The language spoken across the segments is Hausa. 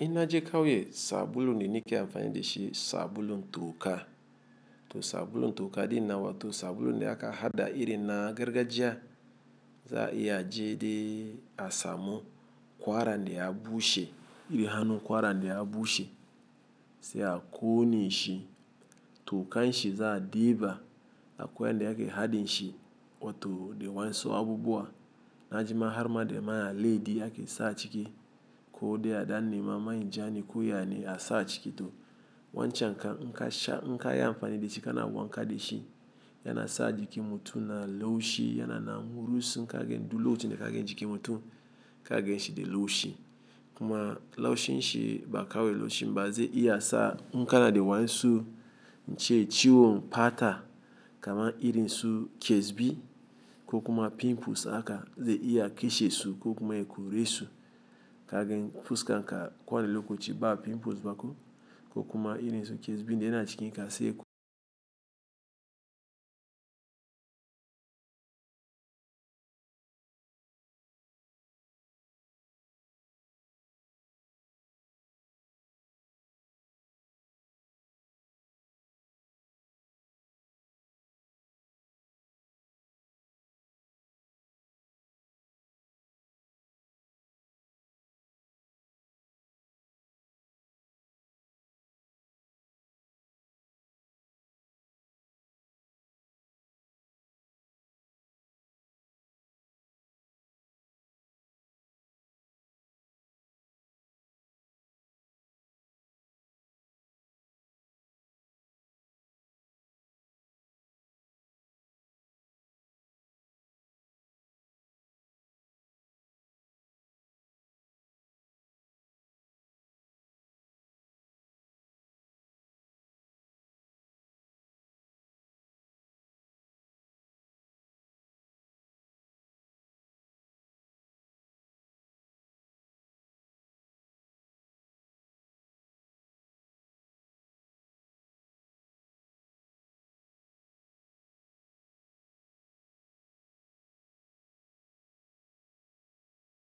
Ina je kauye sabulun de nike amfani de shi sabulun to ka. To sabulun to ka din nawa to sabulun de aka hada iri na gargajiya za'iya je de asamun kwara de ya bushe iri hanu kwara de ya bushe se a ko ne shi to kan shi za a diba a kwai yande ake hadin shi wato de wansu abubuwa najima har ma de ma ya aledi ake sa ciki ko de a dan nema ma injane koya ne a sa ciki to wancan inkasha inka ya amfani de shi kana wanka de shi yana sa jiki mutun na laushi yana na murusu inka gagen du laucin de kagen jiki mutun kagen shi de laushi kuma laushin shi ba kawai laushin ba ze iya sa inka na de wansu ince ciwon pata kama iri nsu kesbi ko kuma pimples aka ze iya keshe su ko kuma yako resu kagen fuska nka kwana loko ci ba pimples baku ko kuma iri nsu kesbi de yana cikin ka se eko.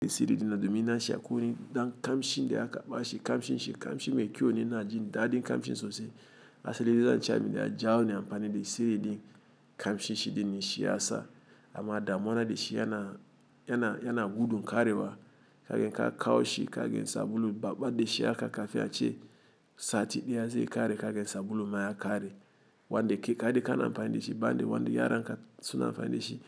De Siri din na domin na shi a ku ni dan kam shin de aka ba shi kam shin shi kam shi mai kyau ne na jin daɗin kam shin sosai. A seliza nce a mi de a jawo ne amfani de Siri din kam shin shi de ni shi ya sa amma da muwana de shi yana, yana, yana gudu karewa kagen ka kawo shi kagen sabulu babba de shi aka kafiya ce sati ɗaya ze kare kagen sabulu ma ya kare. Wanda ke kare ka na amfani de shi ba de wanda yara nka suna amfani de shi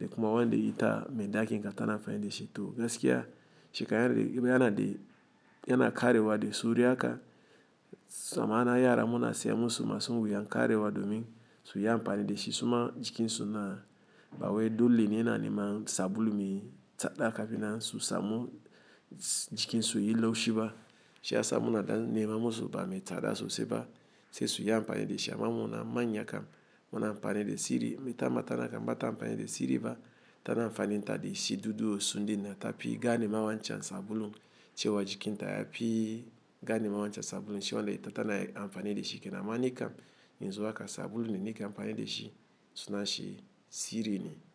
de kuma wanda ita mai ɗaki nka ta na amfani de shi to gaskiya shi ka yara de yana de yana karewa de sauri aka sama na yara muna siyan su ma su wuyan karewa domin su yi amfani de shi su ma jikin su na ba waye dole ne na nema sabulu mai tsada kafina su samu jikin su yi laushi ba. Shi a sa muna da nema musu ba mai tsada sosai ba se su yi amfani de shi amma muna manya kam muna amfani de Siri me ta mata nka bata amfani de Siri ba ta na amfani ta de shi dudu osun din na tapi ga ne ma wancan sabulun cewa jikin ta ya pi ga ne ma wancan sabulun shi wanda ita ta na amfani de shi kena manya kam in zo aka sabulun de nike amfani de shi suna shi Siri ne.